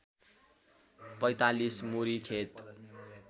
४५ मुरी खेत